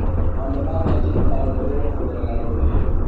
Maũndũ ma bengi no marũmĩrĩrũo kũgerera ndũmĩrĩri.